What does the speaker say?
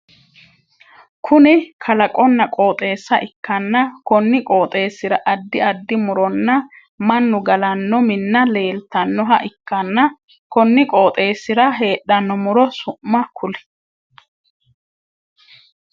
Kunni kalaqonna qooxeessa ikanna konni qooxeesira addi addi muronna mannu galano Minna leeltanoha ikanna konni qooxeesira heedhano muro su'ma kuli?